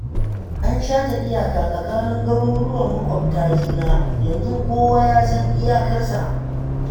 An shata iyaka tsakanin garuruwan maƙwabta juna, yanzu kowa yasan iyakarsa